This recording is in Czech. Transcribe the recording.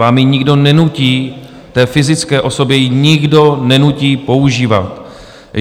Vám ji nikdo nenutí, té fyzické osobě ji nikdo nenutí používat.